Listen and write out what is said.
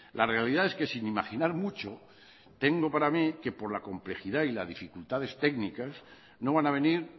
la realidad es que sin imaginar mucho tengo para mí que por la complejidad y las dificultades técnicas no van a venir